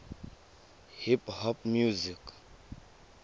hip hop music